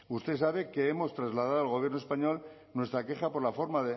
usted sabe que hemos trasladado al gobierno español nuestra queja por la forma